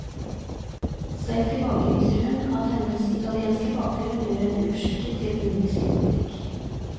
Selv tilbakeviser hun at hennes italienske bakgrunn gjør henne uskikket i indisk politikk.